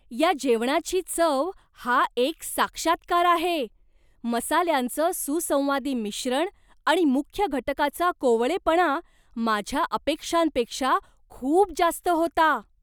या जेवणाची चव हा एक साक्षात्कार आहे, मसाल्यांचं सुसंवादी मिश्रण आणि मुख्य घटकाचा कोवळेपणा माझ्या अपेक्षांपेक्षा खूप जास्त होता.